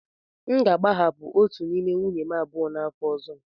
M ga-agbahapụ otu n'ime nwunye m abụọ n'afọ ọzọ.